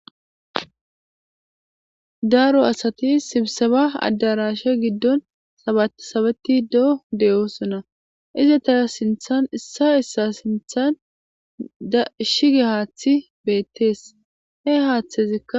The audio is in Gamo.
daaro asati sibsaba addarashe giddon sabatsabeti doo de7o sona ize tara sinthan issa issa sinthan da ishige haathi beettees he haaththezikka